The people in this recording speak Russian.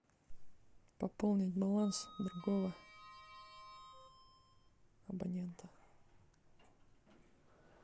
пополнить баланс другого абонента